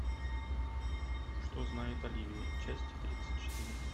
что знает оливия часть тридцать четыре